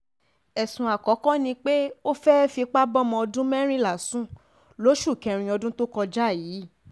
ẹ̀sùn àkọ́kọ́ ni pé ó fẹ́ẹ́ fipá bọ́mọ ọdún mẹ́rìnlá sùn lóṣù kẹrin ọdún tó kọjá yìí